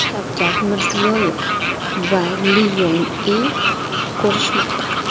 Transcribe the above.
Shavkat Mirziyoyev va Li Yong E ko‘rishmoqda.